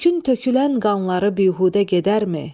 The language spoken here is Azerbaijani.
Türkün tökülən qanları bihudə gedərmi?